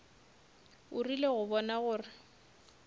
o rile go bona gore